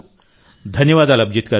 ధన్యవాదాలు అభిజిత్ గారూ